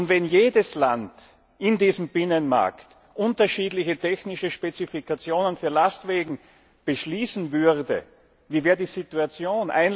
Wenn jedes Land in diesem Binnenmarkt unterschiedliche technische Spezifikationen für Lastwägen beschließen würde, wie wäre die Situation?